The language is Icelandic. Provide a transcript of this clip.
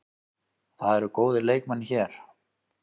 Það eru góðir leikmenn hér.